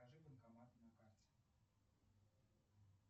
покажи банкоматы на карте